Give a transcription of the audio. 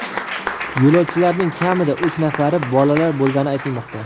Yo‘lovchilarning kamida uch nafari bolalar bo‘lgani aytilmoqda.